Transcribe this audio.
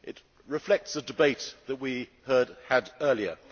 It reflects the debate that we had earlier.